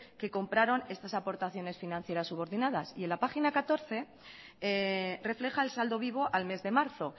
que compraron estas aportaciones financieras subordinadas y en la página catorce refleja el saldo vivo al mes de marzo